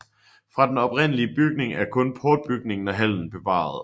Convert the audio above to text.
Fra den oprindelige bygning er kun portbygningen og hallen bevaret